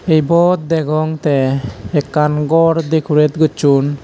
ibot degong te ekkan ghor decorated gojchon.